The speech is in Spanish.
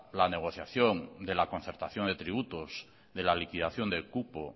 la negociación de la concertación de tributos de la liquidación del cupo